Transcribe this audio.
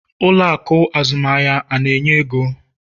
Ụlọ akụ azụmahịa na-enye ego?